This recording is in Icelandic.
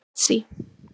Betsý